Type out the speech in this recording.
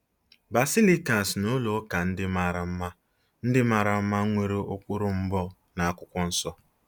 Basilikas na ụlọ ụka ndị mara mma ndị mara mma nwere ụkpụrụ mbụ n'Akwụkwọ Nsọ?